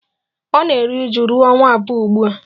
Ọ na-eru uju ruo ọnwa abụọ ugbu a